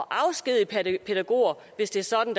afskedige pædagoger hvis det er sådan